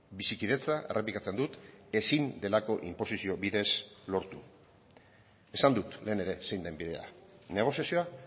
bizikidetza errepikatzen dut ezin delako inposizio bidez lortu esan dut lehen ere zein den bidea negoziazioa